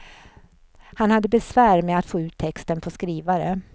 Han hade besvär med att få ut texten på skrivare.